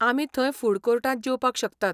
आमी थंय फूड कोर्टांत जेवपाक शकतात.